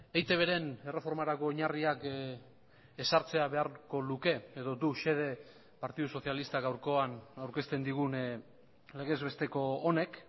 eitbren erreformarako oinarriak ezartzea beharko luke edo du xede partidu sozialistak gaurkoan aurkezten digun legez besteko honek